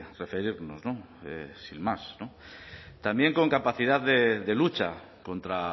referirnos sin más no también con capacidad de lucha contra